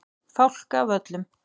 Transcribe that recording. Fálkavöllum